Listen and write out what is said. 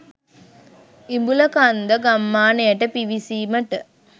ඉඹුලකන්ද ගම්මානයට පිවිසීමට